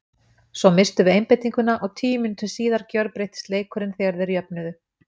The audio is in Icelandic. Svo misstum við einbeitinguna og tíu mínútum síðar gjörbreyttist leikurinn þegar þeir jöfnuðu.